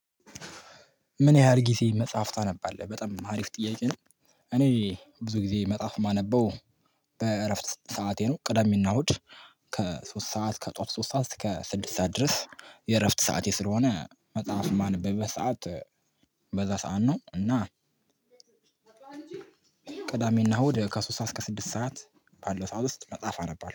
ምን ያህል ጊዜ መጽሐፍ ታነባለህ? በጣም አሪፍ ጥያቄ ነው እኔ ብዙ ጊዜ መጽሐፍ ማነበው በእረፍት ሰዓቴ ነው ቅዳሜና እሁድ ከሶስት ሰዓት ከጠዋት ሶስት ሰዓት እስከ ስድስት ሰዓት ድረስ ሰዓቴ ስለሆነ መጽሐፍ የማነበበት ሰዓት በዛ ሰዓት ነው እና ቅዳሜና እሁድ ከሶስት ሰዓት እስከ ስድስት ሰዓት ባለ ሰዓት ውስጥ መጽሐፍ አነባለሁ